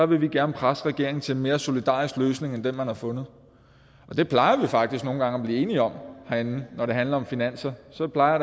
vil vi gerne presse regeringen til en mere solidarisk løsning end den man har fundet og det plejer vi faktisk nogle gange at blive enige om herinde når det handler om finanser så plejer